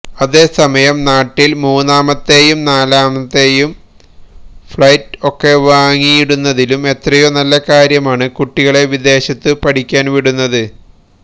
അതേസമയം നാട്ടില് മൂന്നാമത്തെയും നാലാമത്തെയും ഫഌറ്റ് ഒക്കെ വാങ്ങിയിടുന്നതിലും എത്രയോ നല്ല കാര്യമാണ് കുട്ടികളെ വിദേശത്ത് പഠിക്കാന് വിടുന്നത്